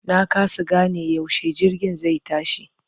Na kasa gane yaushe jirgin zai tashi.